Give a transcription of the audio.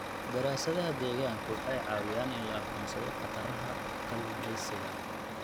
Daraasadaha deegaanku waxay caawiyaan in la aqoonsado khataraha kalluumaysiga.